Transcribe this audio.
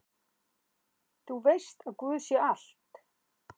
Þú veist að guð sér allt!